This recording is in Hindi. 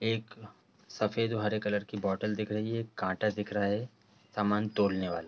एक सफेद हरे कलर की बोटल दिख रही है कांटा दिख रहा है सामान तोलने वाला।